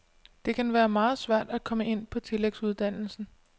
Det kan være meget svært at komme ind på tillægsuddannelsen.